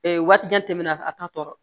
waati jan tɛmɛna a ta tɔ